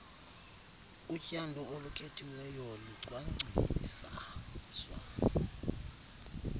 utyando olukhethiweyo lucwangciswa